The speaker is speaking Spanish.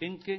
en que